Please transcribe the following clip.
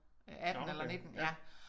18 eller 19 ja